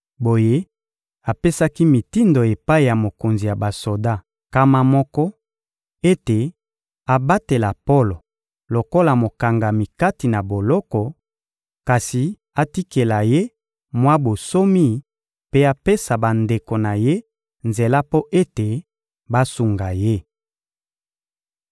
Boye, apesaki mitindo epai ya mokonzi ya basoda nkama moko ete abatela Polo lokola mokangami kati na boloko, kasi atikela ye mwa bonsomi mpe apesa bandeko na ye nzela mpo ete basunga ye.